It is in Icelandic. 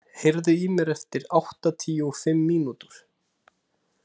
Leonhard, heyrðu í mér eftir áttatíu og fimm mínútur.